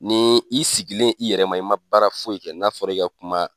Ni i sigilen i yɛrɛ ma ,i ma baara foyi kɛ n'a fɔra i ka kuma